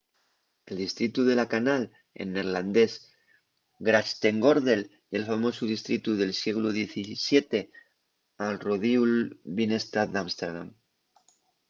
el distritu de la canal en neerlandés grachtengordel ye'l famosu distritu del sieglu xvii al rodiu'l binnestad d'ámsterdam